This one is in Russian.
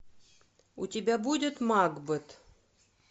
у тебя будет макбет